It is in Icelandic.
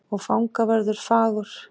Og fangavörður fagur.